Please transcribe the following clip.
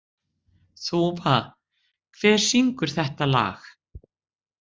Þúfa, hver syngur þetta lag?